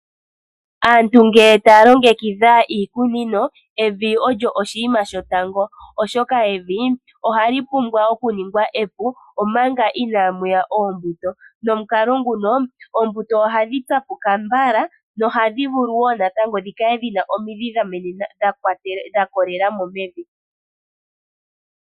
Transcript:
Aantu ngele taya longekidha iikunino evi olyo oshinima shotango, oshoka evi ohali pumbwa okuningwa epu omanga inamuya oombuto nomukalo nguno oombuto ohadhi tsapuka mbala nohadhivulu wo tatango dhikale dhina omidhi dha kolelamo mevi.